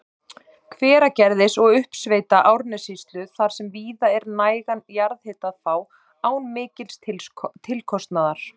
Hveragerðis og uppsveita Árnessýslu þar sem víða er nægan jarðhita að fá án mikils tilkostnaðar.